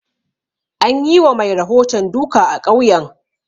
An yi wa mai rahoton duka a ƙauyen